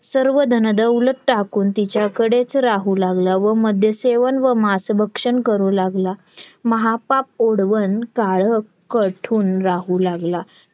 तीस तारखेला देते देते मग गरज होत नाही पण मग काढून काय फायदा नाही ना मग.